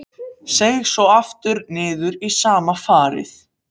Seig svo aftur niður í sama farið.